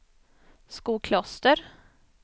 Skokloster